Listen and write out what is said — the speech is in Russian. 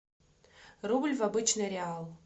рубль в обычный реал